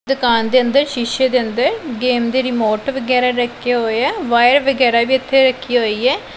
ਦੁਕਾਨ ਦੇ ਅੰਦਰ ਸ਼ੀਸ਼ੇ ਦੇ ਅੰਦਰ ਗੇਮ ਦੀ ਰਿਮੋਟ ਵਗੈਰਾ ਰੱਖੇ ਹੋਏ ਆ ਵਾਇਰ ਵਗੈਰਾ ਵੀ ਇੱਥੇ ਰੱਖੀ ਹੋਈ ਹੈ।